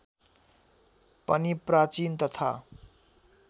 पनि प्राचीन तथा